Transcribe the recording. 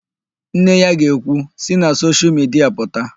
Nne ya ga-ekwu, "si na soshial midia pụta"!